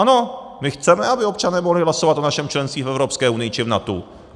Ano, my chceme, aby občané mohli hlasovat o našem členství v Evropské unii či v NATO.